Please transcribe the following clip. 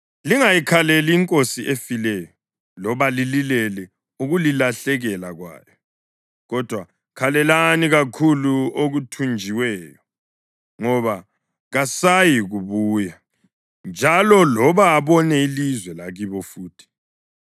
Lingayikhaleli inkosi efileyo loba lililele ukulilahlekela kwayo; kodwa, khalelani kakhulu othunjiweyo, ngoba kasayikubuya njalo loba abone ilizwe lakibo futhi.